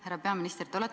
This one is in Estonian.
Härra peaminister!